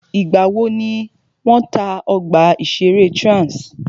Ìgbà wò ni wọ́n tá ọgbà ìṣẹ̀rẹ́ Trans?